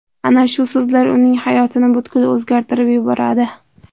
Ana shu so‘zlar uning hayotini butkul o‘zgartirib yuboradi.